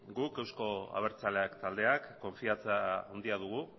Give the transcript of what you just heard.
guk euzko abertzaleak taldeak konfidantza handia dugu